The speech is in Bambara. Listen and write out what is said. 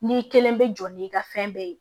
N'i kelen bɛ jɔ n'i ka fɛn bɛɛ ye